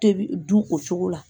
Tebi du o cogo la